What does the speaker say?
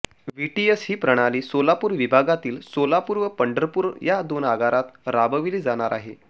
VTS ही प्रणाली सोलापूर विभागातील सोलापूर व पंढरपूर या दोन आगारात राबविली जाणार आहे